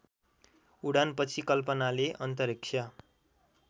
उडानपछि कल्पनाले अन्तरिक्ष